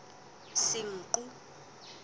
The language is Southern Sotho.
senqu